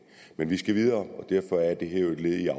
men vi skal videre og derfor er det her jo et led i at